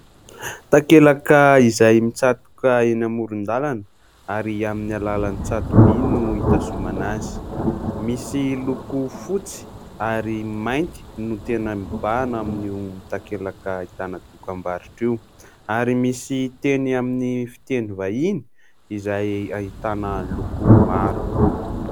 Takelaka izay mitsatoka eny amoron-dalana ary amin'ny alalan'ny tsato-by no hitazomana azy. Misy loko fotsy ary mainty no tena mibàhana ao amin'io takelaka ahitana tokambarotra io, ary misy teny amin'ny fiteny vahiny izay ahitana loko maro.